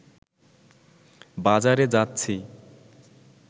বাজারে যাচ্ছি